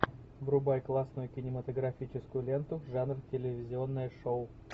врубай классную кинематографическую ленту жанр телевизионное шоу